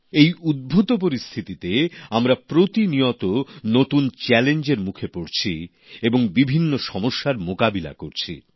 এই উদ্ভূত পরিস্থিতিতে আমরা প্রতিনিয়ত নতুন চ্যালেঞ্জ এর মুখে পড়ছি এবং বিভিন্ন সমস্যার মোকাবিলা করছি